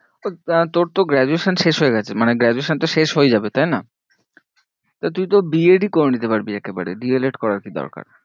তা তোর তো graduation শেষ হয়ে গেছে, মানে graduation টা শেষ হয়ে যাবে তাই না? তা তুই তো B. ed ই করে নিতে পারবি একেবারে, D. el. ed করার কি দরকার?